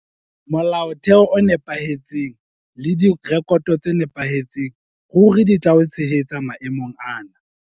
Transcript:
Molaotheo o nepahetseng le direkoto tse nepahetseng ruri di tla o tshehetsa maemong ana.